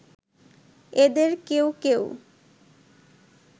এদের কেউ কেউ